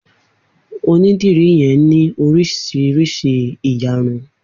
Onídìrí yen ní oríṣiríṣi ìyarun